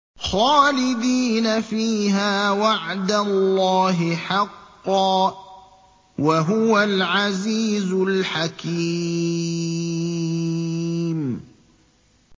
خَالِدِينَ فِيهَا ۖ وَعْدَ اللَّهِ حَقًّا ۚ وَهُوَ الْعَزِيزُ الْحَكِيمُ